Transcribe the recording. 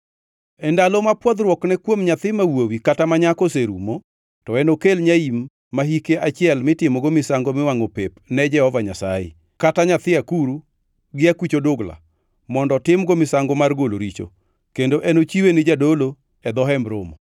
“ ‘E ndalo ma pwodhruokne kuom nyathi ma wuowi kata ma nyako oserumo, to enokel nyaim ma hike achiel mitimogo misango miwangʼo pep Jehova Nyasaye, kaachiel kata nyathi akuru gi akuch odugla, mondo otimgo misango mar golo richo, kendo enochiwe ni jadolo e dho Hemb Romo.